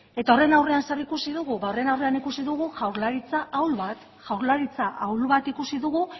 eta horren aurrean zer ikusi dugu ba horren aurrean ikusi dugu jaurlaritza ahul bat jaurlaritza ahul bat ikusi dugu